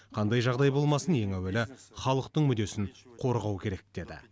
қандай жағдай болмасын ең әуелі халықтың мүддесін қорғау керек деді